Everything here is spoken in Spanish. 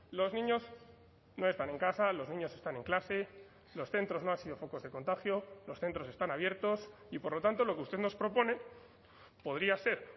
los niños no están en casa los niños están en clase los centros no han sido focos de contagio los centros están abiertos y por lo tanto lo que usted nos propone podría ser